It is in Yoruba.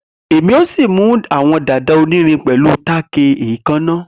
Emi o si mu awọn dada onirin pẹlu tack eekanna.